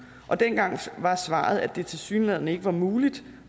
dengang var svaret at det tilsyneladende ikke var muligt